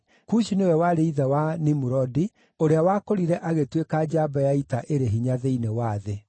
Kushi nĩwe warĩ ithe wa Nimurodi ũrĩa wakũrire agĩtuĩka njamba ya ita ĩrĩ hinya thĩinĩ wa thĩ.